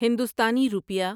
ہندوستانی روپیہ